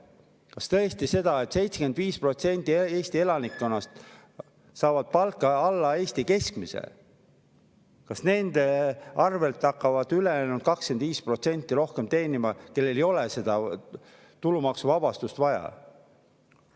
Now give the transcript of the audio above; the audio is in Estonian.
Kas tõesti ongi nii, et kuigi 75% Eesti elanikkonnast saab palka alla Eesti keskmise, hakkavad nende arvel veel rohkem teenima ülejäänud 25%, kellel ei ole tegelikult seda tulumaksuvabastust vaja?